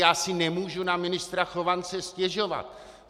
Já si nemůžu na ministra Chovance stěžovat.